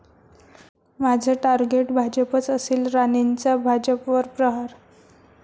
माझं टार्गेट भाजपच असेल, राणेंचा भाजपवर प्रहार